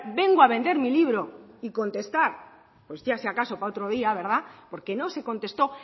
vengo a vender mi libro y contestar pues ya si acaso para otro día verdad porque no se contestó